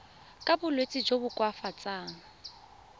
ka bolwetsi jo bo koafatsang